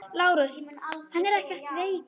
LÁRUS: Hann er ekkert veikur.